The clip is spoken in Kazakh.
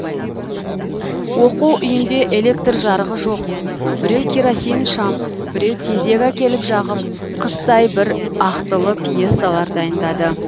оқу үйінде электр жарығы жоқ біреу керосин шам біреу тезек әкеліп жағып қыстай бір ақтылы пьесалар дайындады